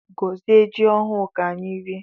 Gozie jị ọhụụ ka anyị rie!